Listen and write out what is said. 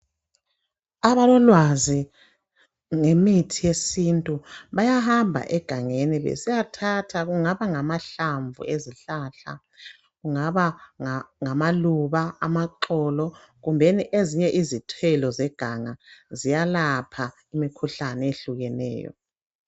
Abalolwazi ngemithi yesintu, bayahamba egangeni besiyathatha kungaba ngamahlamvu ezihlahla .Kungaba ngamaluba , amaxolo kumbeni ezinye izithelo zeganga. Ziyalapha imikhuhlane eyehlukeneyo.